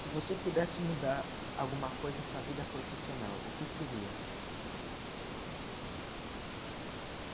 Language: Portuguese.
Se você pudesse mudar alguma coisa em sua vida profissional, o que seria?